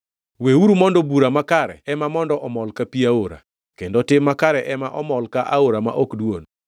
Weuru mondo bura makare ema mondo omol ka pi aora, kendo tim makare ema omol ka aora ma ok dwon.